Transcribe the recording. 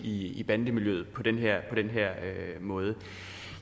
i bandemiljøet på den her måde